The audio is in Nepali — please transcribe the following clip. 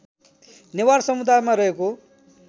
नेवार समुदायमा रहेको